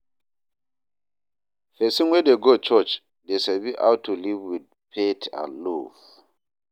Pesin wey dey go church dey sabi how to live with faith and love